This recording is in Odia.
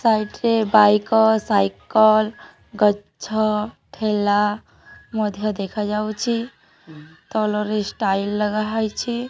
ସାଇଟ୍ ରେ ବାଇକ ସାଇକଲ୍ ଗଛ ଠେଲା ମଧ୍ୟ ଦେଖା ଯାଉଚି। ତଲରେ ଷ୍ଟାଇଲ୍ ଲଗା ହେଇଛେ।